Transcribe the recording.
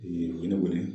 u ye ne wele